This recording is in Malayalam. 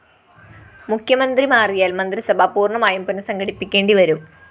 മുഖ്യമന്ത്രി മാറിയാല്‍ മന്ത്രിസഭ പൂര്‍ണമായും പുനഃസംഘടിപ്പിക്കേണ്ടിവരും